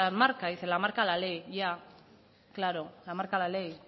marca dice la marca la ley ya claro la marca la ley